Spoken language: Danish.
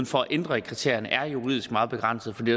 for at ændre kriterierne er juridisk meget begrænsede fordi